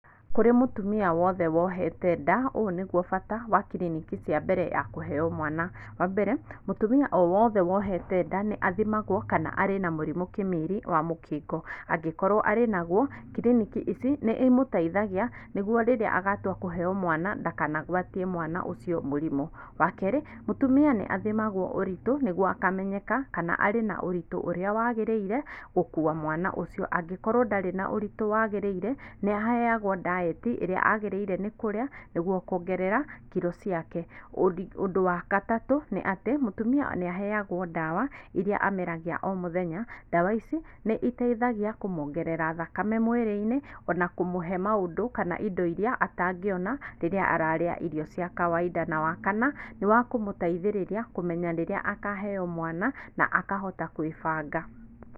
Kũrĩ mũtumia wothe wohete nda, ũũ nĩguo bata wa kiriniki cia mbere ya kũheyo mwana, wa mbere, mũtũmia o wothe wohete nda nĩ athimagwo kana arĩ na mũrimũ kĩmiri wa mũkingo, angĩkorwo arĩ nagwo, kiriniki ici nĩ ĩmũteithagia nĩguo rĩrĩa agatwa kũheyo mwana ndakanagwatie mwana ũcio mũrimũ, wa kerĩ, mũtumia nĩ athimagwo ũritũ nĩguo akamenyeka kana arĩ na ũritũ ũria wagĩrĩre gũkuwa mwana ucio, angĩkorwo ndarĩ na ũritũ wagĩrĩire, nĩ aheyagwo ndaeti ĩrĩa agĩrĩire nĩ kũrĩa nĩguo kwongerera kiro ciake, ũndi ũndũ wa gatatũ, nĩ atĩ mũtumia nĩ aheyagwo ndawa iria ameragĩa o mũthenya, ndawa ici nĩ iteithagĩa kũmwongerera thakame mwĩrĩ-inĩ ona kũmuhe maũndũ kana indo iria atangĩona rĩrĩa araria irio cia kawaida , na wa kana, nĩ wa kũmũteithĩriria kũmenya rĩrĩa akaheyo mwana na akahota gwĩbanga.